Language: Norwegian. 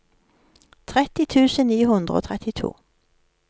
tretti tusen ni hundre og trettito